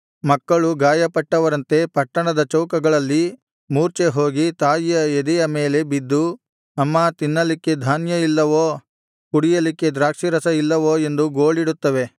ಮಕ್ಕಳು ಗಾಯಪಟ್ಟವರಂತೆ ಪಟ್ಟಣದ ಚೌಕಗಳಲ್ಲಿ ಮೂರ್ಛೆಹೋಗಿ ತಾಯಿಯ ಎದೆಯ ಮೇಲೆ ಬಿದ್ದು ಅಮ್ಮಾ ತಿನ್ನಲಿಕ್ಕೆ ಧಾನ್ಯ ಇಲ್ಲವೋ ಕುಡಿಯಲಿಕ್ಕೆ ದ್ರಾಕ್ಷಿಯರಸ ಇಲ್ಲವೋ ಎಂದು ಗೋಳಿಡುತ್ತವೆ